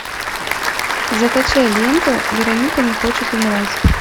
закачай ленту вероника не хочет умирать